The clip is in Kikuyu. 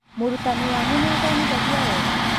Mũrutanĩ wanyu nĩathomithagia wega?